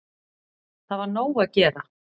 Það var nóg að gera